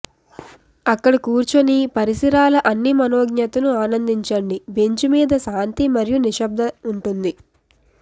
అక్కడ కూర్చుని పరిసరాల అన్ని మనోజ్ఞతను ఆనందించండి బెంచ్ మీద శాంతి మరియు నిశ్శబ్ద ఉంటుంది